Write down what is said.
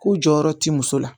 Ko jɔyɔrɔ ti muso la